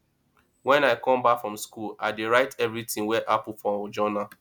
wen i come back from skool i dey write everytin wey happen for journal